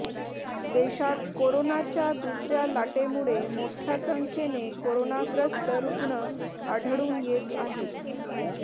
देशात कोरोनाच्या दुसऱ्या लाटेमुळे मोठ्या संख्येने कोरोनाग्रस्त रुग्ण आढळून येत आहेत